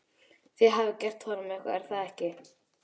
Þið hafið gert honum eitthvað, er það ekki?